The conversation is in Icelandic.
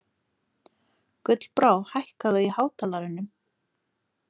Gullbrá, hækkaðu í hátalaranum.